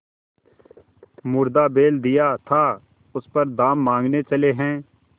मुर्दा बैल दिया था उस पर दाम माँगने चले हैं